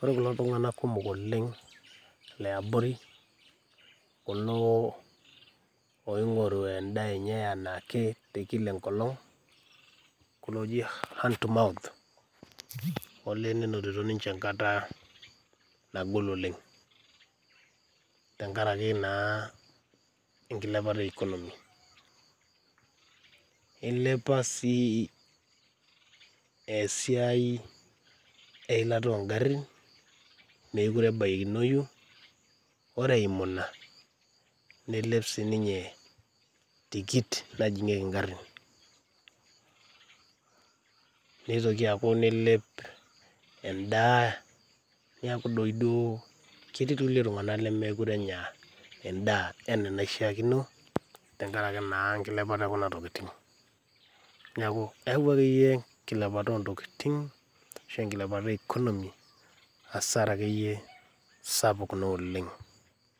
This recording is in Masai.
ore kulo tung'anak kumok liabori oing'oru liaboru endaa enye enaake tekila enkolong olee nenonito ninche enkata nagol oleng tenkaraki enkilepata economy olee eilepa sii esiai eilata oonkarin meere ebaikinoyu ore eimu ina neilep sii ninye tikit najing'ieki inkarini neitoki aauku neilep endaa neeeku diiduo ketii iltung'anak lemekure enya endaa tenkaraki enkilepata ekuna tokitin neeku eeyau akeyie enkilepata oontokitin ashua enkilepata e conomy hasara sapuk naa oleng